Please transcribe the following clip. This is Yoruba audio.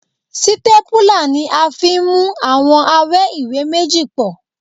Sítépúlà ni a fi ń mú àwọn awẹ́ ìwé méjì pọ̀